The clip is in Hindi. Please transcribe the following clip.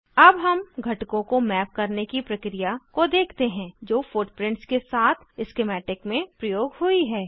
अब हम घटकों को मैप करने की प्रक्रिया को देखते हैं जो फुटप्रिंट्स के साथ स्किमैटिक में प्रयोग हुई है